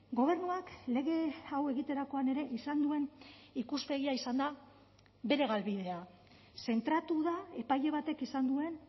gobernuak lege hau egiterakoan ere izan duen ikuspegia izan da bere galbidea zentratu da epaile batek izan duen